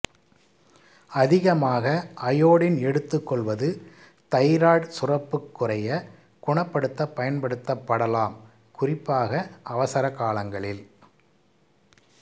அதிகமாக அயோடின் எடுத்துக்கொள்வது தைராய்டு சுரப்புக் குறையை குணப்படுத்தப் பயன்படுத்தப்படலாம் குறிப்பாக அவசரக் காலங்களில்